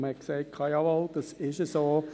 Man sagte: «Jawohl, das ist so.».